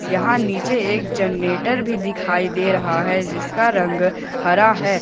यहां नीचे एक जनरेटर भी दिखाई दे रहा है जिसका रंग हरा है।